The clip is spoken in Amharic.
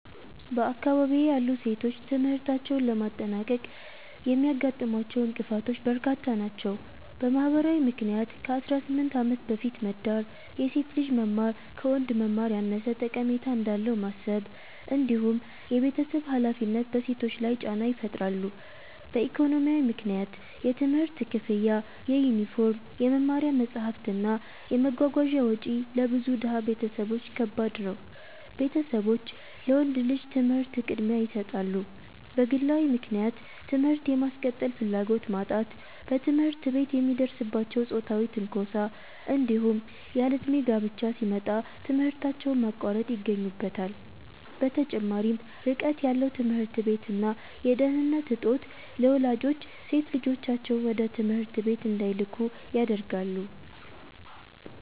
በአካባቢዬ ያሉ ሴቶች ትምህርታቸውን ለማጠናቀቅ የሚያጋጥሟቸው እንቅፋቶች በርካታ ናቸው። በማህበራዊ ምክንያት ከ18 ዓመት በፊት መዳር፣ የሴት ልጅ መማር ከወንድ መማር ያነሰ ጠቀሜታ እንዳለው ማሰብ፣ እንዲሁም የቤተሰብ ሃላፊነት በሴቶች ላይ ጫና ይፈጥራሉ። በኢኮኖሚያዊ ምክንያት የትምህርት ክፍያ፣ የዩኒፎርም፣ የመማሪያ መጽሐፍት እና የመጓጓዣ ወጪ ለብዙ ድሃ ቤተሰቦች ከባድ ነው፤ ቤተሰቦች ለወንድ ልጅ ትምህርት ቅድሚያ ይሰጣሉ። በግለዊ ምክንያት ትምህርት የማስቀጠል ፍላጎት ማጣት፣ በትምህርት ቤት የሚደርስባቸው ጾታዊ ትንኮሳ፣ እንዲሁም ያለእድሜ ጋብቻ ሲመጣ ትምህርታቸውን ማቋረጥ ይገኙበታል። በተጨማሪም ርቀት ያለው ትምህርት ቤት እና የደህንነት እጦት ለወላጆች ሴት ልጆቻቸውን ወደ ትምህርት ቤት እንዳይልኩ ያደርጋል።